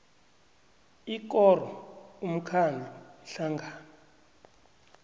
ikoro umkhandlu ihlangano